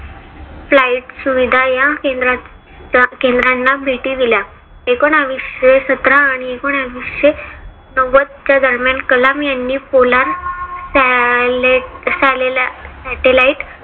flight सुविधा या केंद्रांना भेटी दिल्या. एकोनाविशे सतरा आणि एकोनाविशे नव्वद च्या दरम्यान कलाम यांनी पोलार्ड स्याले satelight